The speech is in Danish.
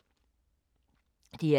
DR2